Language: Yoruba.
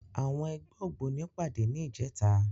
Àwọn ẹgbẹ́ ògbóni pàdé ní ìjẹta.